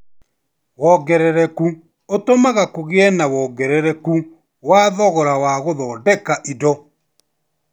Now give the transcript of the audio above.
Wongerereku ũtũmaga kũgie na wongerereku wa thogora wa gũthondeka indo